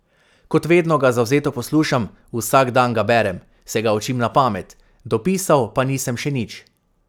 Kot vedno ga zavzeto poslušam, vsak dan ga berem, se ga učim na pamet, dopisal pa nisem še nič.